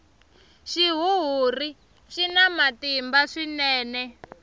xihuhuri xina matimba swinene